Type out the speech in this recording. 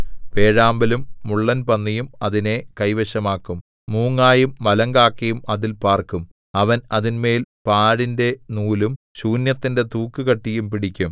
വേഴാമ്പലും മുള്ളൻപന്നിയും അതിനെ കൈവശമാക്കും മൂങ്ങയും മലങ്കാക്കയും അതിൽ പാർക്കും അവൻ അതിന്മേൽ പാഴിന്റെ നൂലും ശൂന്യത്തിന്റെ തൂക്കുകട്ടിയും പിടിക്കും